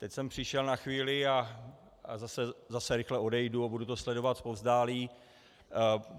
Teď jsem přišel na chvíli a zase rychle odejdu a budu to sledovat zpovzdálí.